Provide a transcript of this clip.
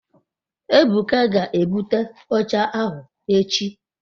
ebuka ge ebute oche ahu echi